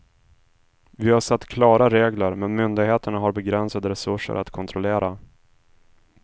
Vi har satt klara regler, men myndigheterna har begränsade resurser att kontrollera.